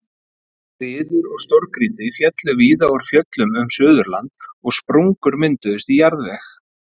Skriður og stórgrýti féllu víða úr fjöllum um Suðurland og sprungur mynduðust í jarðveg.